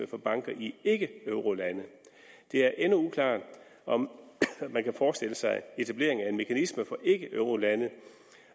for banker i ikkeeurolande det er endnu uklart om man kan forestille sig etablering af en mekanisme for ikkeeurolande